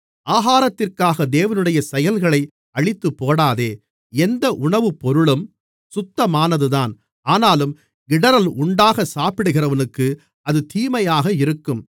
ஆகாரத்திற்காக தேவனுடைய செயல்களை அழித்துப்போடாதே எந்த உணவுப்பொருளும் சுத்தமானதுதான் ஆனாலும் இடறல் உண்டாகச் சாப்பிடுகிறவனுக்கு அது தீமையாக இருக்கும்